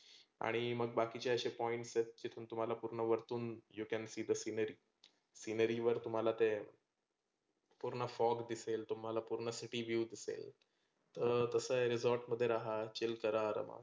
आणि मग बाकीचे असे points आहेत जे मी तुम्हाला पुर्ण वरतून you can see the scenery वर तुम्हाला ते पुर्ण fog दिसेल, तुम्हाला पुर्ण city view दिसेल. तर तसं आहे resort मध्ये रहा, chill करा आरामात.